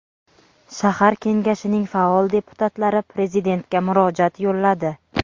shahar kengashining faol deputatlari prezidentga murojaat yo‘lladi.